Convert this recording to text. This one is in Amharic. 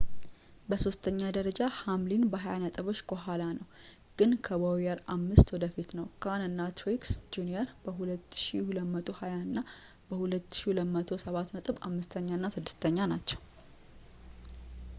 በሦስተኛ ደረጃ ሃምሊን በሃያ ነጥቦች ከኋላ ነው ግን ከቦውየር አምስት ወደፊት ነው ካን እና ትሪክስ ጁኒየር በ 2,220 እና 2,207 ነጥብ አምስተኛ እና ስድስተኛ ናቸው